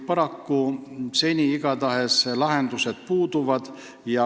Paraku lahendused seni puuduvad.